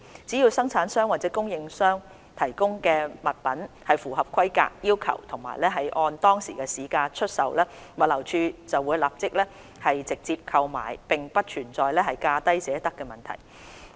只要生產商或供應商提供的物品符合規格要求及按當時市場價格出售，物流署便會立即直接購買，並不存在"價低者得"的問題。